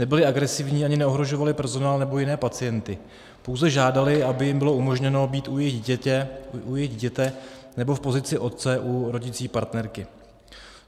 Nebyli agresivní ani neohrožovali personál nebo jiné pacienty, pouze žádali, aby jim bylo umožněno být u jejich dítěte, nebo v pozici otce u rodící partnerky.